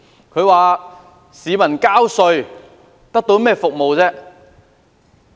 他質疑市民交稅得到甚麼服務。